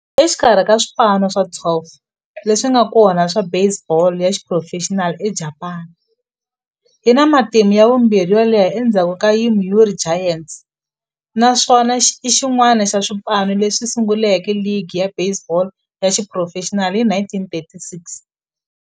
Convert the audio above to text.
Exikarhi ka swipano swa 12 leswi nga kona swa baseball ya xiphurofexinali eJapani, yi na matimu ya vumbirhi yo leha endzhaku ka Yomiuri Giants, naswona i xin'wana xa swipano leswi sunguleke ligi ya baseball ya xiphurofexinali hi 1936.